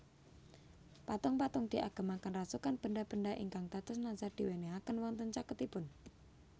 Patung patung diagemaken rasukan benda benda ingkang dados nazar diwenehaken wonten caketipun